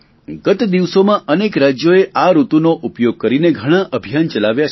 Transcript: ગત દિવસોમાં અનેક રાજ્યોએ આ ઋતુનો ઉપયોગ કરીને ઘણા અભિયાન ચલાવ્યા છે